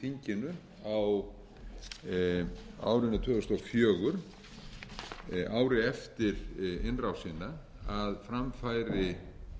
þinginu á árinu tvö þúsund og fjögur ári eftir innrásina um að fram færi